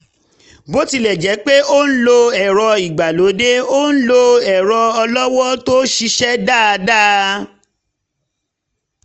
bó tilẹ̀ jẹ́ pé ó ń lo ẹ̀rọ ìgbàlódé ó ń lo ẹ̀rọ ọlọ́wọ́ tó ṣiṣẹ́ dáadáa